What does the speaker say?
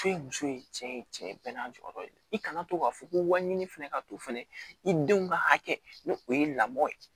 F'e muso ye cɛ ye cɛ ye bɛɛ n'a jɔyɔrɔ ye i kana to k'a fɔ ko waɲini fana ka to fana i denw ka hakɛ ni o ye lamɔ ye